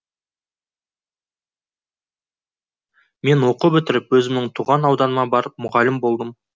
мен оқу бітіріп өзімнің туған ауданыма барып мұғалім болдым